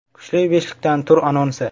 Kuchli beshlikdan tur anonsi.